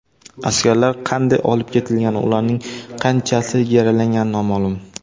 Askarlar qanday olib ketilgani, ularning qanchasi yaralangani noma’lum.